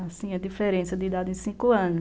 Assim, a diferença de idade em cinco anos.